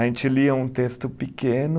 A gente lia um texto pequeno,